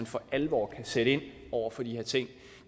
for alvor kan sætte ind over for de her ting